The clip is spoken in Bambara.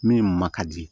Min ma ka di